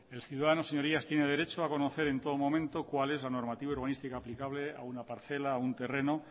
el ciudadano señorías tiene derecho a conocer en todo momento cuál es la normativa urbanística aplicable a una parcela a un terreno